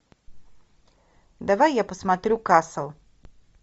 давай я посмотрю касл